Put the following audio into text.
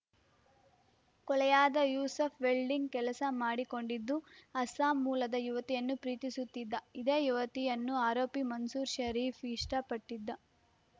ಕೊಲೆಯಾದ ಯೂಸುಫ್‌ ವೆಲ್ಡಿಂಗ್‌ ಕೆಲಸ ಮಾಡಿಕೊಂಡಿದ್ದು ಅಸ್ಸಾಂ ಮೂಲದ ಯುವತಿಯನ್ನು ಪ್ರೀತಿಸುತ್ತಿದ್ದ ಇದೇ ಯುವತಿಯನ್ನು ಆರೋಪಿ ಮನ್ಸೂರು ಷರೀಫ್‌ ಇಷ್ಟಪಟ್ಟಿದ್ದ